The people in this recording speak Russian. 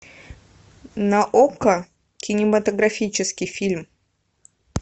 на окко кинематографический фильм